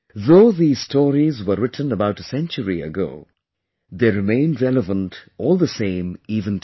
Though these stories were written about a century ago but remain relevant all the same even today